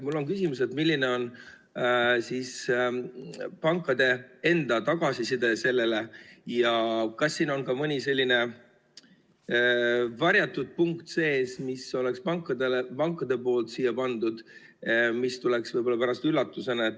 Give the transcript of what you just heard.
Mul on küsimus, et milline on pankade enda tagasiside selle kohta ja kas siin on ka mõni selline varjatud punkt sees, mille pangad on siia pannud ja mis tuleb võib-olla pärast üllatusena.